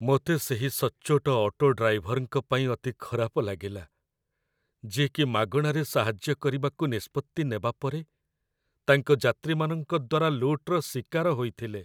ମୋତେ ସେହି ସଚ୍ଚୋଟ ଅଟୋ ଡ୍ରାଇଭର୍‌‌ଙ୍କ ପାଇଁ ଅତି ଖରାପ ଲାଗିଲା, ଯିଏକି ମାଗଣାରେ ସାହାଯ୍ୟ କରିବାକୁ ନିଷ୍ପତ୍ତି ନେବା ପରେ ତାଙ୍କ ଯାତ୍ରୀମାନଙ୍କ ଦ୍ୱାରା ଲୁଟ୍‌ର ଶିକାର ହୋଇଥିଲେ।